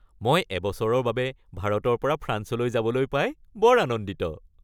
মই এবছৰৰ বাবে ভাৰতৰ পৰা ফ্ৰান্সলৈ যাবলৈ পাই বৰ আনন্দিত৷